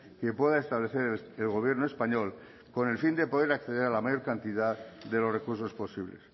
que pueda establecer el gobierno español con el fin de poder acceder a la mayor cantidad de los recursos posible